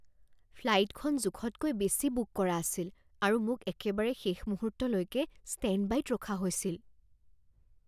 ফ্লাইটখন জোখতকৈ বেছি বুক কৰা আছিল আৰু মোক একেবাৰে শেষ মুহূৰ্তলৈকে ষ্টেণ্ডবাইত ৰখা হৈছিল